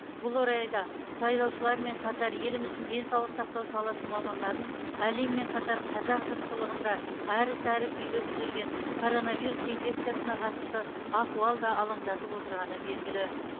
бұл орайда сайлаушылармен қатар еліміздің денсаулық сақтау саласы мамандарын әлеммен қатар қазақ жұртшылығын да әрі сәрі күйге түсірген коронавирус инфекциясына қатысты ахуал да алаңдатып отырғаны белгілі